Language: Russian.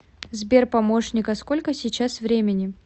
сбер помощник а сколько сейчас времени